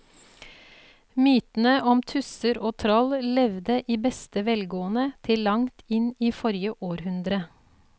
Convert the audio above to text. Mytene om tusser og troll levde i beste velgående til langt inn i forrige århundre.